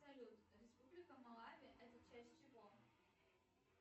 салют республика малавия это часть чего